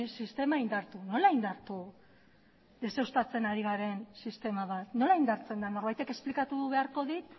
sistema indartu nola indartu nola indartu deuseztatzen ari garen sistema bat nola indartzen da norbaitek esplikatu beharko dit